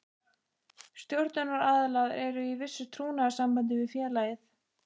Stjórnunaraðilar eru í vissu trúnaðarsambandi við félagið.